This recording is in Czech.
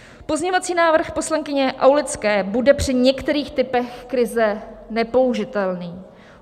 Pozměňovací návrh poslankyně Aulické bude při některých typech krize nepoužitelný.